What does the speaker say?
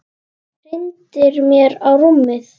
Hrindir mér á rúmið.